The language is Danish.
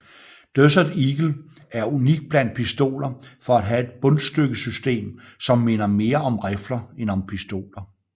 Desert Eagle er unik blandt pistoler for at have et bundstykkesystem som minder mere om rifler end om pistoler